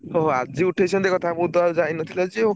ଓହୋ। ଆଜି ଉଠେଇଛନ୍ତି କଥା ମୁଁ ତ ଯାଇ ନ ଥିଲି ଆଜି ଆଉ।